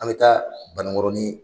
An bɛ taa Banangɔrɔni.